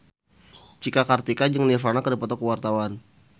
Cika Kartika jeung Nirvana keur dipoto ku wartawan